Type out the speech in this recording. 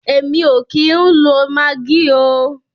Èmi o kìí ń lo maggi oo.